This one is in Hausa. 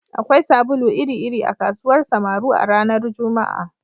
Akwai sabulu iri-iri a kasuwar Samaru a ranar Juma'a